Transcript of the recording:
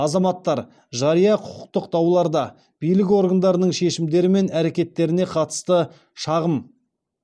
азаматтар жария құқықтық дауларда билік органдарының шешімдері мен әрекеттеріне қатысты шағым